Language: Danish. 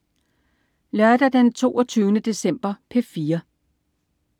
Lørdag den 22. december - P4: